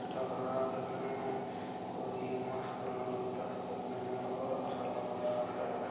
कुछ टंग रहा है देखने में और ये मस्त लगता है देखने में और अच्छा लग रहा है।